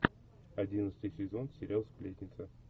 одиннадцатый сезон сериал сплетница